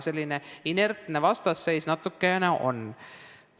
Selline inertne vastasseis natukene on.